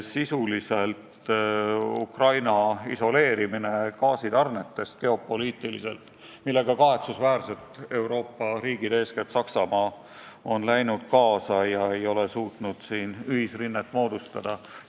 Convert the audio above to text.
Sisuliselt on see Ukraina gaasitarnetest geopoliitiliselt isoleerimine, millega Euroopa riigid, eeskätt Saksamaa, on kahetsusväärselt kaasa läinud ega ole suutnud siin ühisrinnet moodustada.